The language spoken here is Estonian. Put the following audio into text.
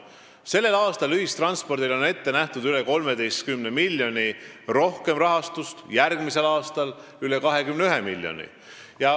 Sellel aastal on ühistranspordile ette nähtud üle 13 miljoni rohkem rahastust, järgmisel aastal üle 21 miljoni.